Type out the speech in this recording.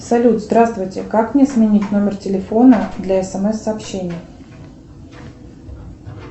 салют здравствуйте как мне сменить номер телефона для смс сообщений